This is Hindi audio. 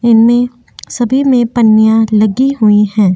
इनमे सभी में पन्नियाँ लगी हुई हैं।